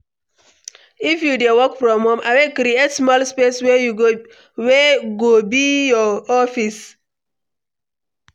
If you dey work from home, abeg create small space wey go be your office.